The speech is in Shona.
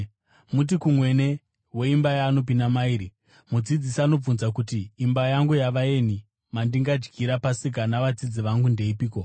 Muti kumwene weimba yaanopinda mairi, ‘Mudzidzisi anobvunza kuti: Imba yangu yavaeni, mandingadyira Pasika navadzidzi vangu ndeipiko?’